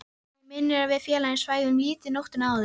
Mig minnir að við félagarnir svæfum lítið nóttina áður.